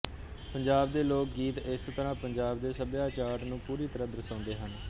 ਪੰਜਾਬ ਦੇ ਲੋਕ ਗੀਤ ਇਸ ਤਰ੍ਹਾਂ ਪੰਜਾਬ ਦੇ ਸੱਭਿਆਚਾਟ ਨੂੰ ਪੁਰੀ ਤਰ੍ਹਾਂ ਦਰਸ਼ਾਉਂਦੇ ਹਨ